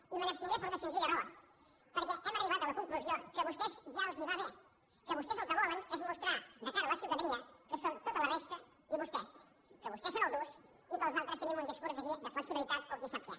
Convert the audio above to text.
i me n’abstindré per una senzilla raó perquè hem arribat a la conclusió que a vostès ja els va bé que vos·tès el que volen és mostrar de cara a la ciutadania que són tota la resta i vostès que vostès són els durs i que els altres tenim un discurs aquí de flexibilitat o qui sap què